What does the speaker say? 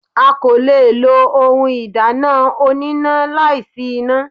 A kò le lo ohun ìdáná oníná láì sí iná.